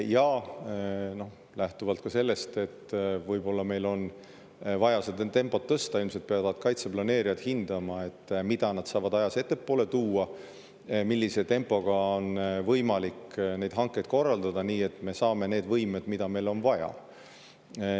Ja lähtuvalt sellest, et võib-olla meil on vaja tempot tõsta, peavad kaitseplaneerijad ilmselt hindama, mida nad saavad ajas ettepoole tuua ja millise tempoga on võimalik neid hankeid korraldada, nii et me saame need võimed, mida meil on vaja.